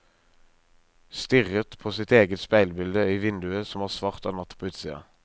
Stirret på sitt eget speilbilde i vinduet som var svart av natt på utsida.